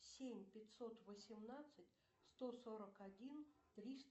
семь пятьсот восемнадцать сто сорок один триста